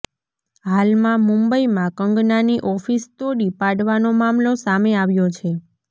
હાલમાં મુંબઈમાં કંગનાની ઓફિસ તોડી પાડવાનો મામલો સામે આવ્યો છે